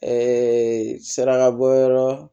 sirakabɔyɔrɔ